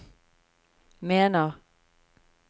mener